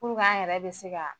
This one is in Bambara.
Puruk'an yɛrɛ be se ka